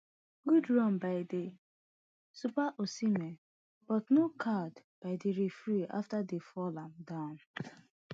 good run by di sub osihmen but no card by di referee afta dem fall am down